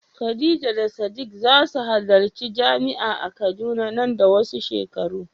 Khadija da Sadiq za su halarci jami'a a Kaduna nan da wasu shekaru.